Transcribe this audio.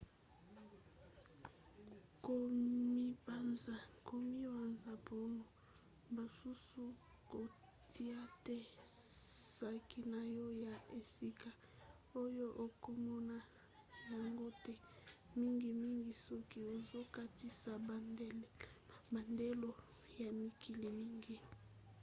komibanza mpona basusu - kotia te saki na yo na esika oyo okomona yango te mingimingi soki ozokatisa bandelo ya mikili mingi